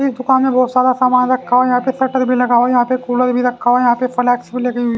इस दुकान में बहुत सारा सामान रखा हुआ है यहां पे शटर भी लगा हुआ है यहां पे कूलर भी रखा हुआ है यहां पे फ्लेक्स भी लगी हुई --